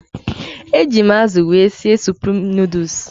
Eji m azụ wee sie suprim nuduls.